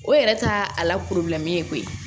O yɛrɛ t'a a la ye koyi